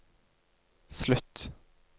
slutt